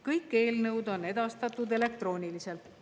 Kõik eelnõud on edastatud elektrooniliselt.